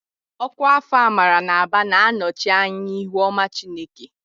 Ọkwa Afọ Amara n'Aba na-anọchi anya ihu ọma Chineke.